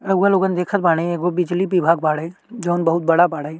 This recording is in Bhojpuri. रउआ लोगन देखत बाड़े एगो बिजली विभाग बाड़े जौन बहुत बड़ा बाड़े।